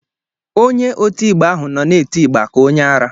Onye oti ịgba ahụ nọ na-eti ịgba ka onye ara